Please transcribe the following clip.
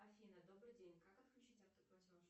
афина добрый день как отключить автоплатеж